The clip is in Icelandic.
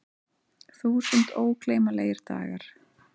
Þúsund ógleymanlegir dagar.